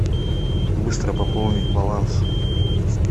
быстро пополнить баланс